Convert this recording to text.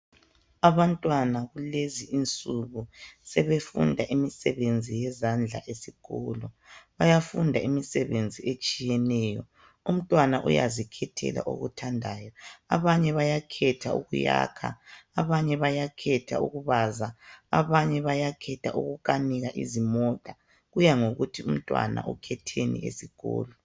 Abantwana kulezi insuku sebefunda imisebenzi yezandla esikolo bayafunda imisebenzi etshiyetshiyeneyo umntwana uyazikhethela okuthandayo abanye bayakhetha ukuyakha abanye bayakhetha ukubaza abanye bayakhetha ukukanika izimota kuya ngokuthi umntwana ukhetheni esikolo.